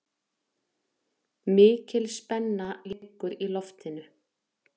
Mikil spenna liggur í loftinu